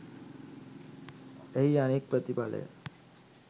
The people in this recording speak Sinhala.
එහි අනෙක් ප්‍රතිඵලය